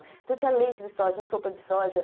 Então tinha leite de soja, sopa de soja.